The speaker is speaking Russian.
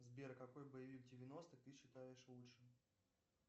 сбер какой боевик девяностых ты считаешь лучшим